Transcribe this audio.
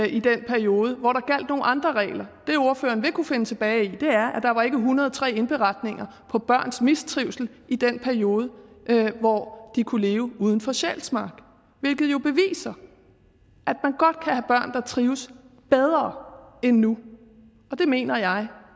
i den periode hvor der gjaldt nogle andre regler det ordføreren vil kunne finde tilbage i er at der ikke var en hundrede og tre indberetninger på børns mistrivsel i den periode hvor de kunne leve uden for sjælsmark hvilket jo beviser at der trives bedre endnu og det mener jeg